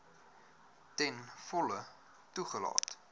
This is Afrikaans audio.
ten volle toegelaat